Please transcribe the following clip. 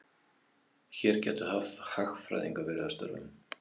Hér gætu hagfræðingar verið að störfum.